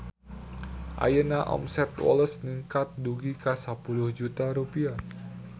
Ayeuna omset Woles ningkat dugi ka 10 juta rupiah